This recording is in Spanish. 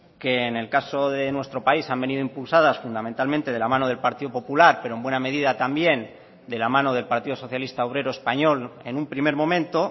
que en el caso de nuestro país han venido impulsadas fundamentalmente de la mano del partido popular pero en buena medida también de la mano del partido socialista obrero español en un primer momento